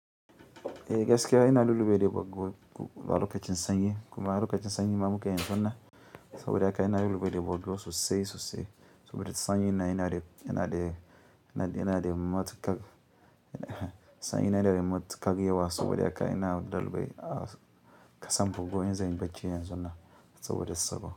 Eh gaskiya ina lulluɓe da bargo, a lokacin sanyi, kuma lokacin sanyi ma muke yanzun nan, saboda haka ina lulluɓe da bargo sosai sosai, saboda sanyin nan yanada yanada matuƙar sanyi yana da matuƙar yawa saboda haka ina lulluɓe a ƙasan bargo in zanyi bacci yanzun na saboda sabo.